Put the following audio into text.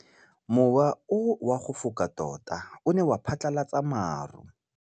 Mowa o wa go foka tota o ne wa phatlalatsa maru.